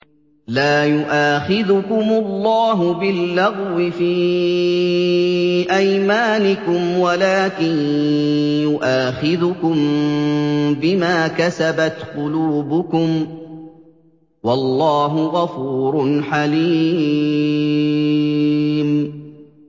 لَّا يُؤَاخِذُكُمُ اللَّهُ بِاللَّغْوِ فِي أَيْمَانِكُمْ وَلَٰكِن يُؤَاخِذُكُم بِمَا كَسَبَتْ قُلُوبُكُمْ ۗ وَاللَّهُ غَفُورٌ حَلِيمٌ